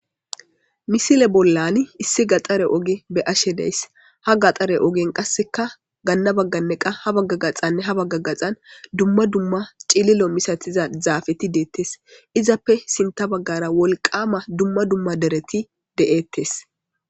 misile bollan issi gaxare oge be ashe deys ha gaxare ogen qasseka ganna bagganne qa ha bagga gaxanne ha bagga gaxan dumma dumma cililo misathiza zaafeti deettes izappe sinta baggara wolqama dumma dumma dereti de7ettes